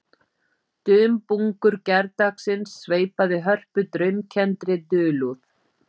Dumbungur gærdagsins sveipaði Hörpu draumkenndri dulúð